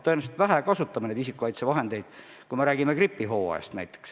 Tõenäoliselt me kasutame isikukaitsevahendeid ka gripihooajal liiga vähe.